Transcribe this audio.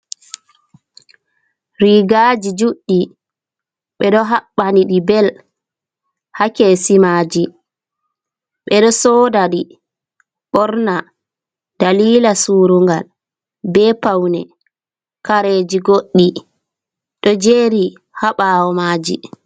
Rigaji juddi be do habbani di bell ha kesi maji. Bedo soda di borna dalila surungal, be paune. Kareji goddi do jeri ha bawo maji.